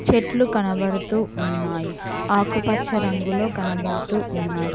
చెట్లు కనబడుతూ ఉన్నాయి ఆకుపచ్చ రంగులో కనబడుతూ ఉన్నాయ్.